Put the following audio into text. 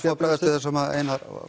að bregðast við því sem Einar